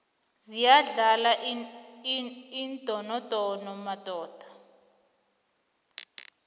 ziyadlala iindonodono madoda